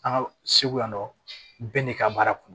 An ka segu yan nɔ bɛɛ n'i ka baara kun